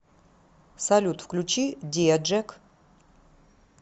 салют включи диа джек